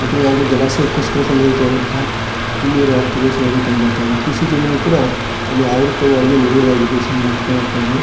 ಕೂತು ಯಾವ್ದೋ ಜಲಾಶಯಗೋಸ್ಕರ ಸಂಗ್ರಹಿತ ವಾದಂತಹ ಹಿನ್ನೀರ ಪ್ರದೇಶ ವದು ಕಂಡ ಬರ್ತಾ ಇದೆ. ಕೃಷಿ ಜಮೀನು ಕೂಡ ಅಲ್ಲಿ ಆವೃತ ವಾಗಿ ಮುಳು ಗಡೆ ಆಗಿದ್ದು ಕಂಡು ಬರ್ತಾ ಇದೆ.